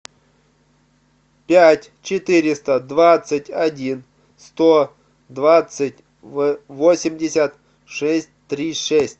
пять четыреста двадцать один сто двадцать восемьдесят шесть три шесть